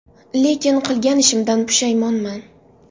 Lekin, qilgan ishimdan pushaymonman.